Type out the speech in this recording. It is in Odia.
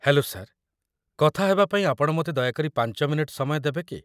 ହେଲୋ ସାର୍‌, କଥା ହେବାପାଇଁ ଆପଣ ମୋତେ ଦୟାକରି ୫ ମିନିଟ୍‌ ସମୟ ଦେବେ କି?